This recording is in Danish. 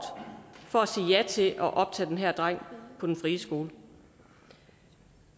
for at sige ja til at optage den her dreng på den friskole